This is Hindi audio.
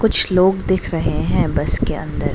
कुछ लोग दिख रहे है बस के अंदर।